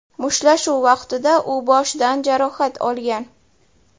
Mushtlashuv vaqtida u boshidan jarohat olgan.